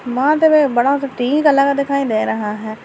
माथे पे एक बड़ा सा टीका लगा दिखाई दे रहा है।